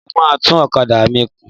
Mo máa tún ọ̀kadà mi kùn.